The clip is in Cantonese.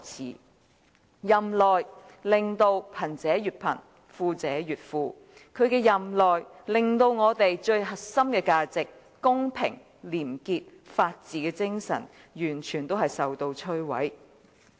在他任內，令貧者越貧、富者越富；在他任內，令我們最核心的價值即公平、廉潔和法治的精神完全摧毀。